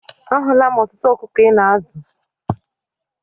A hụla m ọtụtụ ọkụkọ Ị na-azụ.